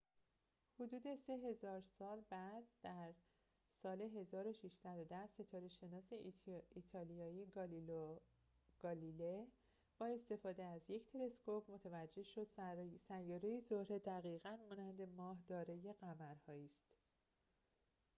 حدود سه هزار سال بعد در ۱۶۱۰ ستاره‌شناس ایتالیایی گالیلئو گالیله با استفاده از یک تلسکوپ متوجه شد سیاره زهره دقیقاً مانند ماه دارای قمرهایی است